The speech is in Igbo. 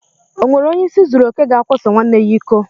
O nwere onye ịsị zuru okè ga akwaso nwanne ya iko?